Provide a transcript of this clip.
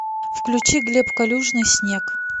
включить глеб калюжный снег